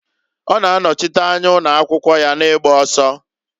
Ọ na-anọchịta anya ụnọakwụkwụ ya na-igba ọsọ.